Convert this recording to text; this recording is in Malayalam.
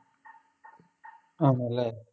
ആണല്ലേ